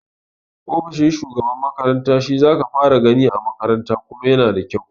Ofishin shugaban makaranta shi zaka fara gani a makaranta kuma yana da kyau